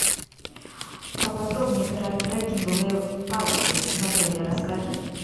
поподробнее про треккинговые палки в отеле расскажи